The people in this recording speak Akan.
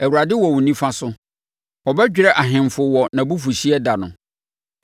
Awurade wɔ wo nifa so; ɔbɛdwerɛ ahemfo wɔ nʼabufuhyeɛ da no.